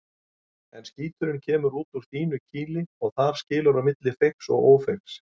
En skíturinn kemur út úr þínu kýli og þar skilur á milli feigs og ófeigs.